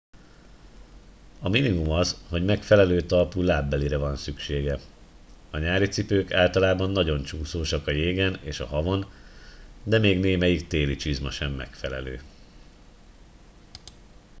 a minimum az hogy megfelelő talpú lábbelire van szüksége a nyári cipők általában nagyon csúszósak a jégen és a havon de még némelyik téli csizma sem megfelelő